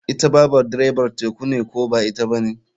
Ita babar direbar teku ne ko ba ita bane.